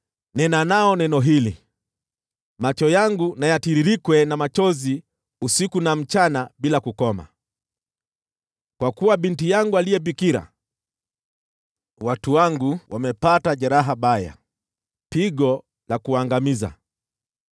“Nena nao neno hili: “ ‘Macho yangu na yatiririkwe na machozi usiku na mchana bila kukoma; kwa kuwa binti yangu aliye bikira, yaani watu wangu, amepata jeraha baya, pigo la kuangamiza.